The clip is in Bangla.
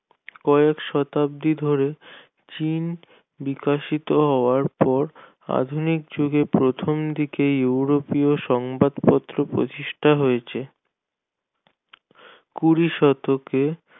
কয়েক শতাব্দি ধরে চীন বিকাশিত হওয়ার পর আধুনিক যুগে প্রথমদিকে ইউরোপীয় সংবাদপত্র প্রতিষ্ঠা হয়েছে কুড়ি শতকে